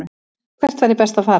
Hvert væri best að fara?